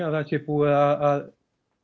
að það sé búið að